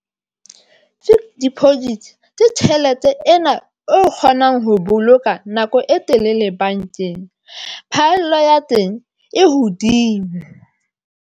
Di-project ke tjhelete ena o kgonang ho boloka nako e telele bankeng, phaello ya teng e hodimo.